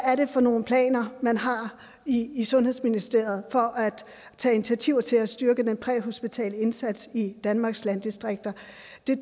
er det for nogle planer man har i sundhedsministeriet for at tage initiativer til at styrke den præhospitale indsats i danmarks landdistrikter